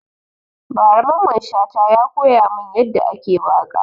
Ba ra Mamman Shata ya koya mun ya da ake waka